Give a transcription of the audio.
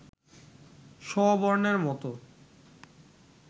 শ বর্ণের মত